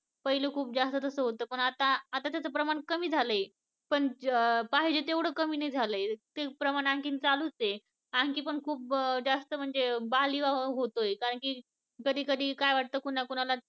पहिले खूप जास्त तसं होतं पण आता आता त्याच प्रमाण कामी झालंय पण अं पाहिजे तेवढं कमी नाही झालंय ते प्रमाण आणखीन चालूच आहे आणखीन पण खूप जास्त म्हणजे बालविवाह होतोय कारणकी कधीकधी काय वाटतंय कोणाकोणाला